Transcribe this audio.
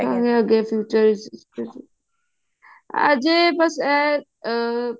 ਅੱਗੇ future ਵਿੱਚ ਅਜੇ ਬਸ ਇਹ